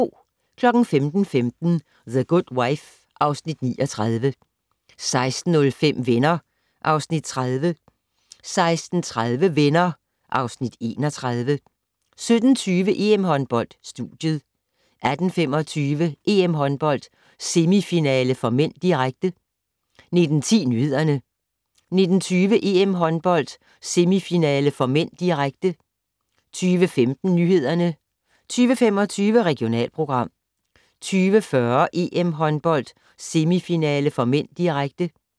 15:15: The Good Wife (Afs. 39) 16:05: Venner (Afs. 30) 16:30: Venner (Afs. 31) 17:20: EM-håndbold: Studiet 18:25: EM-håndbold: Semifinale (m), direkte 19:10: Nyhederne 19:20: EM-håndbold: Semifinale (m), direkte 20:15: Nyhederne 20:25: Regionalprogram 20:40: EM-håndbold: Semifinale (m), direkte